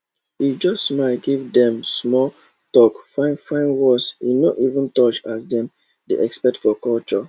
he just smile give dem smalltalk fine fine words he no even touch as dem dey expect for culture